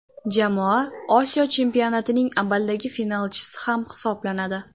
Jamoa Osiyo Chempionatining amaldagi finalchisi ham hisoblanadi.